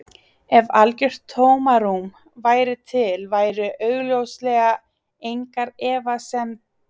Ef algjört tómarúm væri til væru augljóslega engar efniseindir þar og ekkert hitastig skilgreint.